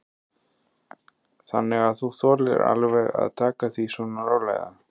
Þannig að þú þolir alveg að taka því svona rólega?